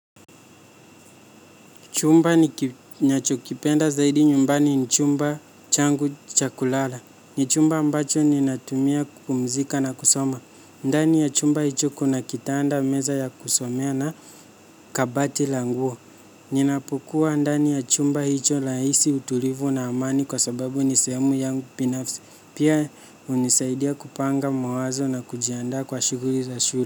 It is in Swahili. Chumba ninachokipenda zaidi nyumbani ni chumba changu cha kulala. Ni chumba ambacho ninatumia kupumzika na kusoma. Ndani ya chumba hicho kuna kitanda, meza ya kusomea na kabati la nguo. Ninapokuwa ndani ya chumba hicho nahisi utulivu na amani kwasababu ni sehemu yangu binafsi. Pia hunisaidia kupanga mawazo na kujiandaa kwa shughuli za shule.